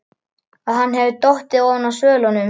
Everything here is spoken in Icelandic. Að hann hefði dottið ofan af svölunum!